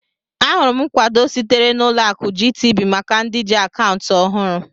Ahụrụ m nkwado sitere na Ụlọ akụ GTB maka ndị ji akaụntụ ọhụrụ.